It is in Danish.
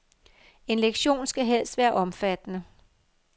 En leksikon skal helst være omfattende.